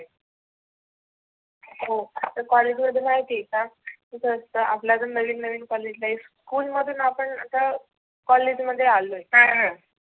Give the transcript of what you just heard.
हो तर कॉलेज मध्ये माहिती आहे का कसं असत कॉलेज आपल आता नविन नवीन कॉलेज school मधुन आपण आता कॉलेज मधुन आलोय.